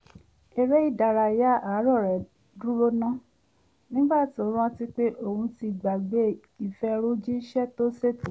eré ìdárayá àárọ̀ rẹ̀ dúró ná nígbà tí ó rántí pé òun ti gbàgbé ìfẹrùjíṣẹ́ tó ṣètò